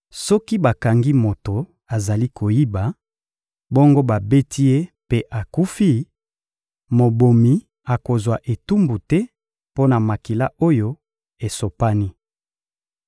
Soki bakangi moto azali koyiba, bongo babeti ye mpe akufi; mobomi akozwa etumbu te mpo na makila oyo esopani.